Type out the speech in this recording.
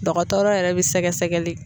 Dɔgɔtɔrɔ yɛrɛ bɛ sɛgɛsɛgɛli